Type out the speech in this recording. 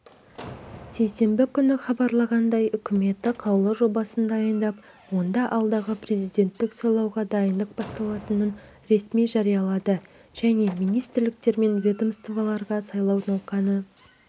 сейсенбі күні хабарланғандай үкіметі қаулы жобасын дайындап онда алдағы президенттік сайлауға дайындық басталатынын ресми жариялады және министрліктер мен ведомстволарға сайлау науқаны